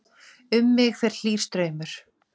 Um mig fer hlýr straumur.